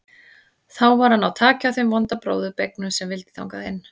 Þá var að ná taki á þeim vonda bróður beygnum sem vildi þangað inn.